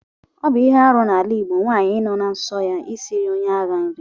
Ọbụ ihe arụ na ala igbọ nwanyi na-ahụ nsọ ya isiri onye aha nri.